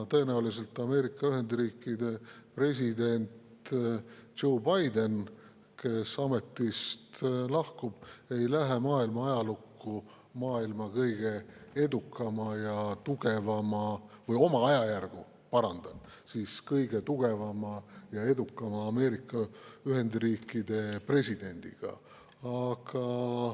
Tõenäoliselt Ameerika Ühendriikide president Joe Biden, kes ametist lahkub, ei lähe maailma ajalukku oma ajajärgu kõige tugevama ja edukama Ameerika Ühendriikide presidendina.